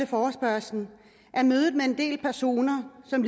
forespørgslen er mødet med en del personer som